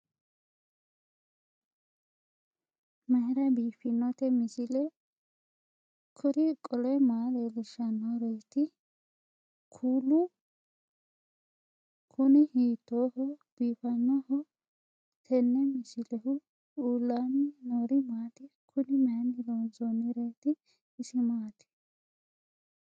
mayra biiffinote misile? kuri qole maa leellishannoreeti? kuulu kuni hiittooho biifannoho tenne misilehu? uullaanni noori maati? kuni mayni loonsoonnireeti isi maati